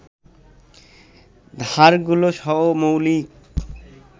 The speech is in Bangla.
ধারগুলো সহ মৌলিক